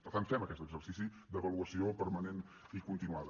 per tant fem aquest exercici d’avaluació permanent i continuada